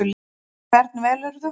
Og hvern velurðu?